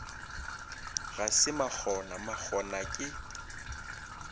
ga se makgona makgona ke